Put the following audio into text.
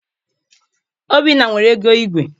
Obinna nwere ego igwe.